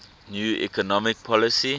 new economic policy